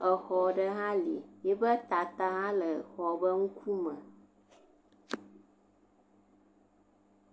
Xɔ aɖe hã li, ete tata hã le xɔa ŋkume.